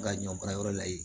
Ka ɲɔ baarayɔrɔ la yen